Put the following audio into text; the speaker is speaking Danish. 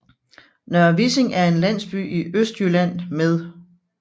Nørre Vissing er en landsby i Østjylland med